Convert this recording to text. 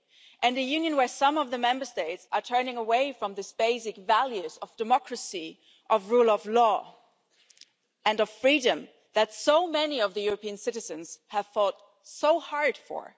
And a Union where some of the Member States are turning away from these basic values of democracy, of rule of law and of freedom that so many of the European citizens have fought so hard for.